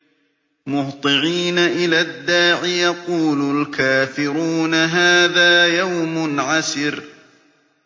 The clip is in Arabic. مُّهْطِعِينَ إِلَى الدَّاعِ ۖ يَقُولُ الْكَافِرُونَ هَٰذَا يَوْمٌ عَسِرٌ